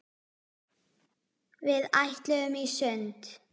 Við ætluðum í sund.